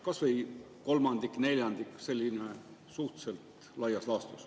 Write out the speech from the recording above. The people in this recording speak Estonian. Kas või kolmandiku, neljandiku kohta, sellise suhteliselt laias laastus.